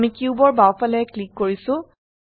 আমি কিউবৰ বাওফালে ক্লিক কৰিছো